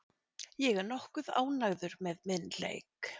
Ég er nokkuð ánægður með minn leik.